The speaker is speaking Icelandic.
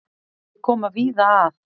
Þau koma víða að.